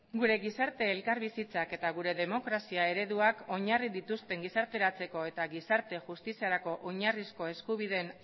gure gizarte elkarbizitzak eta gure demokrazia ereduak oinarri dituzten gizarteratzeko eta gizarte justiziarako oinarrizko eskubideen